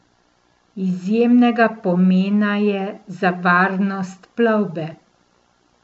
Izjemnega pomena je za varnost plovbe.